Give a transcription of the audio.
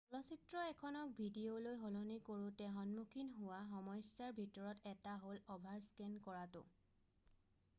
চলচিত্ৰ এখনক ডিভিডিলৈ সলনি কৰোতে সন্মুখীন হোৱা সমস্যাৰ ভিতৰত এটা হ'ল অভাৰস্কেন কৰাটো